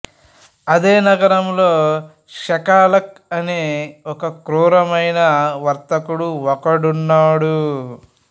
అదే నగరములో షైలాక్ అనే ఒక కృరమైన వర్తకుడు ఒకడున్నాడు